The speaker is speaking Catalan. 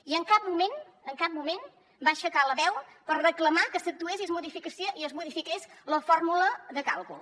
i en cap moment en cap moment va aixecar la veu per reclamar que s’actués i es modifiqués la fórmula de càlcul